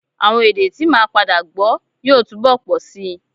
Àwọn èdè t́ màá padà gbọ́ yóò túbọ̀ pọ̀ síi